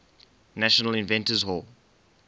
national inventors hall